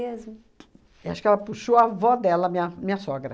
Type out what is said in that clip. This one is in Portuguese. Mesmo? E acho que ela puxou a avó dela, minha minha sogra.